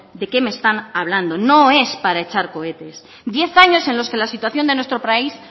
de qué me están hablando no es para echar cohetes diez años en los que la situación de nuestro país